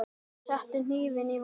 Settu hnífinn í vasa minn.